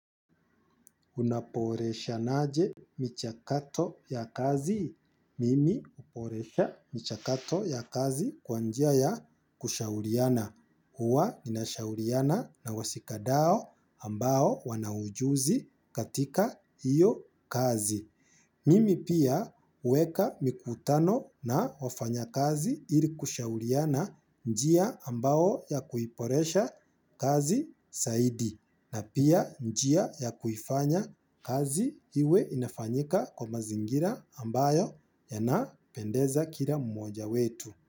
Unaboresha naje michakato ya kazi. Mimi uboresha michakato ya kazi kwa njia ya kushauriana. Uwa ninashaurina na washika dau ambao wana ujuzi katika hiyo kazi. Mimi pia huweka mikutano na wafanya kazi ili kushauriana njia ambao ya kuiboresha kazi zaidi. Na pia njia ya kufanya kazi iwe inafanyika kwa mazingira ambayo yana pendeza kila mmoja wetu.